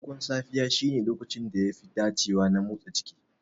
Farkon safiya shine lokacin da yafi dacewa na motsa jiki.